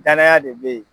Danaya de be yen